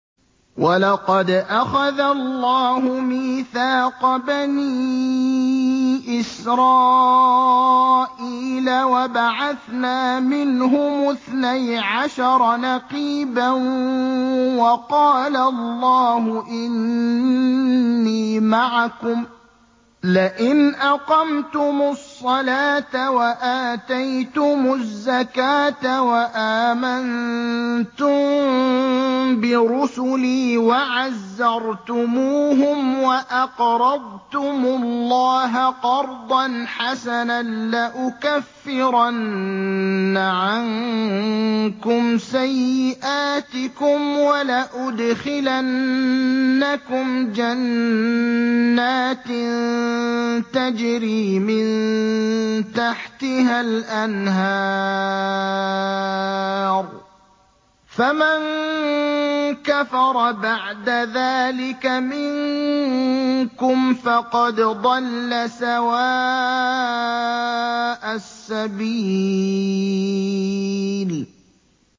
۞ وَلَقَدْ أَخَذَ اللَّهُ مِيثَاقَ بَنِي إِسْرَائِيلَ وَبَعَثْنَا مِنْهُمُ اثْنَيْ عَشَرَ نَقِيبًا ۖ وَقَالَ اللَّهُ إِنِّي مَعَكُمْ ۖ لَئِنْ أَقَمْتُمُ الصَّلَاةَ وَآتَيْتُمُ الزَّكَاةَ وَآمَنتُم بِرُسُلِي وَعَزَّرْتُمُوهُمْ وَأَقْرَضْتُمُ اللَّهَ قَرْضًا حَسَنًا لَّأُكَفِّرَنَّ عَنكُمْ سَيِّئَاتِكُمْ وَلَأُدْخِلَنَّكُمْ جَنَّاتٍ تَجْرِي مِن تَحْتِهَا الْأَنْهَارُ ۚ فَمَن كَفَرَ بَعْدَ ذَٰلِكَ مِنكُمْ فَقَدْ ضَلَّ سَوَاءَ السَّبِيلِ